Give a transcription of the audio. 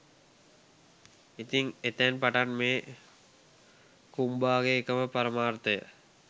ඉතින් එතැන් පටන් මේ කුම්බාගේ එකම පරමාර්ථය